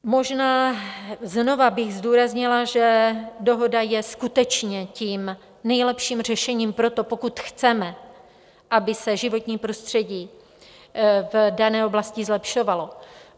Možná znova bych zdůraznila, že dohoda je skutečně tím nejlepší řešením pro to, pokud chceme, aby se životní prostředí v dané oblasti zlepšovalo.